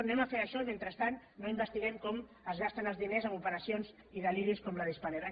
anem a fer això i mentrestant no investiguem com es gasten els diners amb operacions i deliris com el de spanair